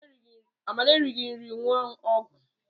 Amara erighi nri ñụọ ọgwụ